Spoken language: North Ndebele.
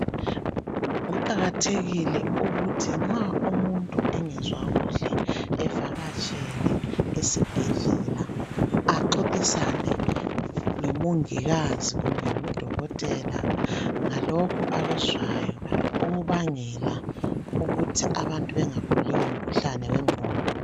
Kuqakathekile ukuthi nxa umuntu engezwa kuhle evakatshele esibhedlela, axoxisane lomongikazi kumbe ngudokotela ngalokho okuzwayo ukubangela ukuthi abantu bengaguli ngomkhuhlane wengqondo.